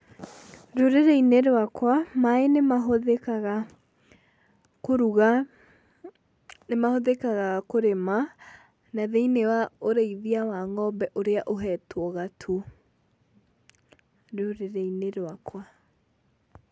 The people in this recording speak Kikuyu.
Rũrĩrĩ-inĩ rwakwa, maĩ nĩ mahũthĩkaga kũruga, nĩmahũthĩkaga kũrĩma, na thĩinĩ wa ũrĩithia wa ng'ombe ũrĩa ũhetwo gatũ rũrĩrĩ-inĩ rwakwa.